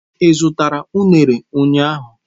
Ị zụtara unere ahu ụnyahụ?